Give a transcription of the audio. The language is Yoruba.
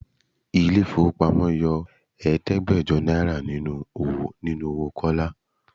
Ilé ifowopamo yọ Ẹ̀ẹ́dẹ́gbẹjọ náírà nínú owó Kọ́lá.